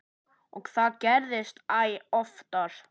Og það gerðist æ oftar.